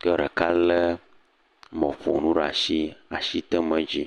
ke ɖeka le mɔƒonu ɖe asi le asi tem ɖe dzi.